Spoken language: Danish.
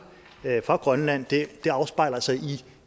for grønland afspejler sig i